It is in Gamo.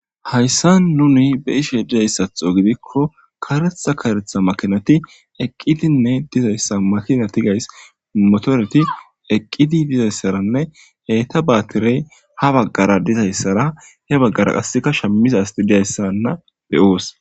Hayssa nuni be ishe dizayssatho gidikko karetha karetha makinati eqqitinne dizayssa makina ti gays motoreti eqqidi dizayssaranne heyta baatirey ha baggara dizayssara he baggara qasseka shammiza asti dizayssanna beyoos.